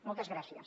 moltes gràcies